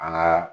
An ka